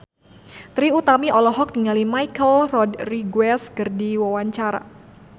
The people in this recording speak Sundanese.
Trie Utami olohok ningali Michelle Rodriguez keur diwawancara